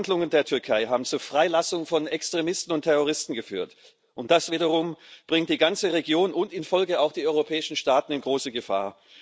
Die Handlungen der Türkei haben zur Freilassung von Extremisten und Terroristen geführt, und das wiederum bringt die ganze Region und in Folge auch die europäischen Staaten in große Gefahr.